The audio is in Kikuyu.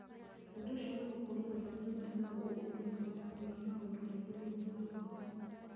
Ũndũ ũcio wa gũkũria andũ arĩa marĩ na ũmenyeru na ũhoti wa maũndũ maingĩ thĩinĩ wa gĩthomo.